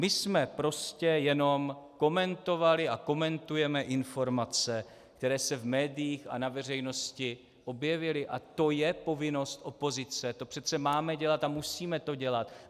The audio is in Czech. My jsme prostě jenom komentovali a komentujeme informace, které se v médiích a na veřejnosti objevily, a to je povinnost opozice, to přece máme dělat a musíme to dělat.